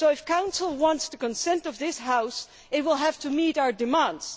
So, if the Council wants the consent of this House, it will have to meet our demands.